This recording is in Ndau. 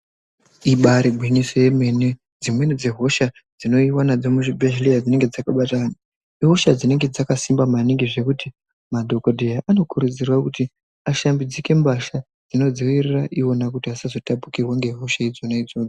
Ibaari gwinyiso yemene. Dzimweni dzehosha dzinouyiwa nadzo muzvibhedhlera, dzinenge dzakabata anhu. Ihosha dzinenge dzakasimba maningi zvekuti madhokodheya anokurudzirwa kuti ashambidzike mbatya dzinodzivirira ivona kuti vasazotapurirwa nehosha idzonadzo.